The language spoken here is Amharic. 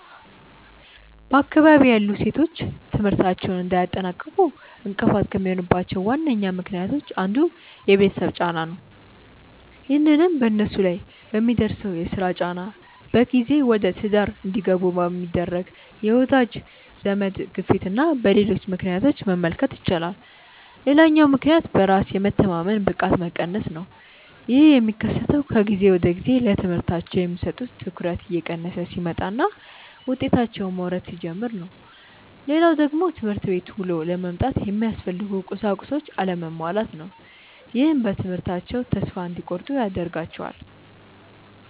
በአካባቢዬ ያሉ ሴቶች ትምህርታቸውን እንዳያጠናቅቁ እንቅፋት ከሚሆኑባቸው ዋነኛ ምክንያቶች አንዱ የቤተሰብ ጫና ነው። ይህንንም በነሱ ላይ በሚደርሰው የስራ ጫና፣ በጊዜ ወደትዳር እንዲገቡ በሚደረግ የወዳጅ ዘመድ ግፊትና በሌሎች ምክንያቶች መመልከት ይቻላል። ሌላኛው ምክንያት በራስ የመተማመን ብቃት መቀነስ ነው። ይህ የሚከሰተው ከጊዜ ወደጊዜ ለትምህርታቸው የሚሰጡት ትኩረት እየቀነሰ ሲመጣና ውጤታቸውም መውረድ ሲጀምር ነው። ሌላው ደግሞ ትምህርት ቤት ውሎ ለመምጣት የሚያስፈልጉ ቁሳቁሶች አለመሟላት ነው። ይህም በትምህርታቸው ተስፋ እንዲቆርጡ ያደርጋቸዋል።